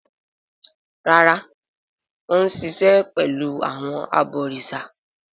Rárá, Ó ń sisẹ̀ pẹ̀lú àwọn “ abọ̀rìsà”.